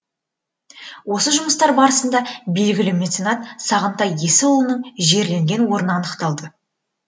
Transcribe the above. осы жұмыстар барысында белгілі меценат сағынтай есіұлының жерленген орны анықталды